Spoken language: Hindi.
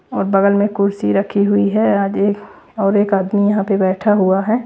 और बगल में कुर्सी रखी हुई है आज एक और एक आदमी यहाँ पे बैठा हुआ है।